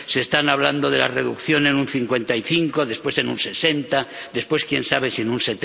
se está hablando de una reducción en un 55, después en un 60, después, quién sabe, si en un